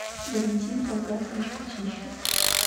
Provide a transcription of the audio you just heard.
валентин талгатович кутищев